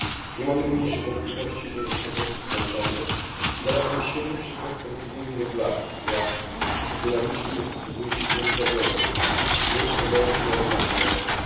Nie mam najmniejszych wątpliwości, że jest to produkt skończony i zarazem świetny przykład precyzyjnej regulacji, która w sposób dynamiczny dostosowuje się do nowych zagrożeń, które pojawiają się na rynkach finansowych.